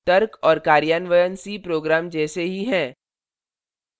तर्क और कार्यान्वयन c program जैसे ही हैं